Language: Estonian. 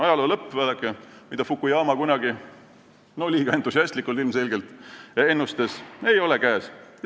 Ajaloo lõpp, vaadake, mida Fukuyama kunagi – liiga entusiastlikult, ilmselgelt – ennustas, ei ole käes.